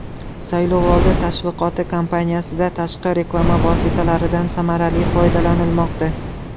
Saylovoldi tashviqoti kampaniyasida tashqi reklama vositalaridan samarali foydalanilmoqda.